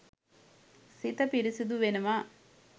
සිත පිරිසිදු වෙනවා.